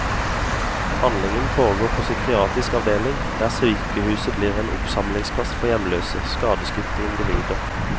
Handlingen foregår på psykiatrisk avdeling, der sykehuset blir en oppsamlingsplass for hjemløse, skadeskutte individer.